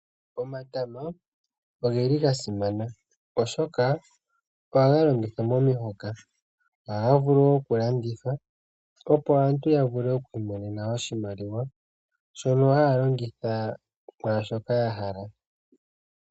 Omatama oga simana, oshoka ohaga longithwa momihoka go ohaga vulu wo oku landithwa, opo aantu ya vule oku mona oshimaliwa shono haya longitha mwaashoka ya hala.